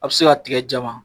A bi se ka tigɛ jama